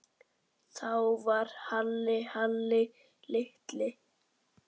Þá var Halli Halli litli.